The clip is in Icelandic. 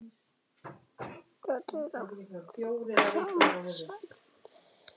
Þetta er alltaf sama sagan.